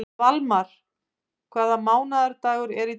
Valmar, hvaða mánaðardagur er í dag?